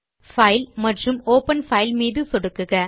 file மற்றும் open file மீது சொடுக்குக